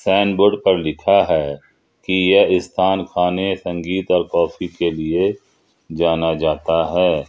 Sign board पर लिखा है कि यह स्थान खाने संगीत और काफी के लिए जाना जाता है।